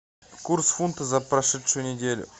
курс фунта за прошедшую неделю